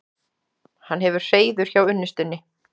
Hann hefur hreiður hjá unnustunni.